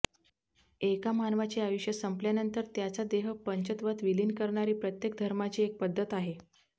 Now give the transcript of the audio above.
एका मानवाचे आयुष्य संपल्यानंतर त्याचा देह पंचत्वात विलीन करणारी प्रत्येक धर्माची एक पद्धत आहे